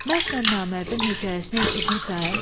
Mərdlə namərdin hekayəsini eşitmisən?